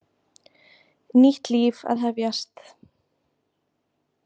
Nýtt líf að hefjast.